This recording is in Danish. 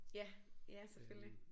Ja ja selvfølgelig